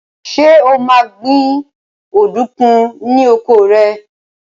Ṣé o máa ń gbin ọ̀dùnkún ní oko rẹ?